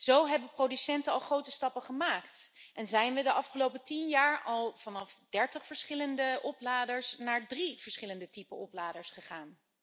Zo hebben producenten al grote stappen gemaakt en zijn we de afgelopen tien jaar al van dertig verschillende opladers naar drie verschillende typen opladers gegaan.